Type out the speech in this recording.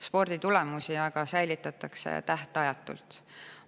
Sporditulemusi säilitatakse tähtajatult.